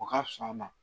O ka fisa a ma